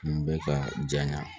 Kun bɛ ka jaɲa